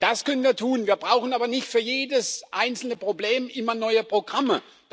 Das können wir tun, wir brauchen aber nicht für jedes einzelne Problem immer neue Programme.